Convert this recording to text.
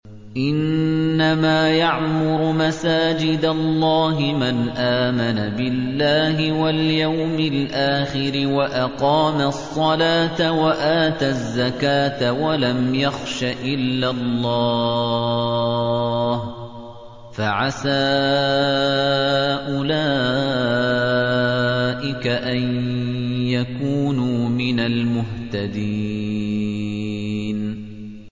إِنَّمَا يَعْمُرُ مَسَاجِدَ اللَّهِ مَنْ آمَنَ بِاللَّهِ وَالْيَوْمِ الْآخِرِ وَأَقَامَ الصَّلَاةَ وَآتَى الزَّكَاةَ وَلَمْ يَخْشَ إِلَّا اللَّهَ ۖ فَعَسَىٰ أُولَٰئِكَ أَن يَكُونُوا مِنَ الْمُهْتَدِينَ